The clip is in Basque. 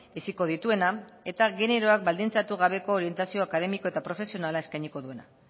heziko dituena eta generoak baldintzatu gabeko orientazio akademiko eta profesionala eskainiko duena